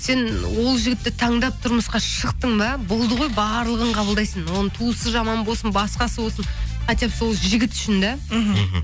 сен ол жігітті таңдап тұрмысқа шықтың ба болды ғой барлығын қабылдайсың оның туысы жаман болсын басқасы болсын хотя бы сол жігіт үшін де мхм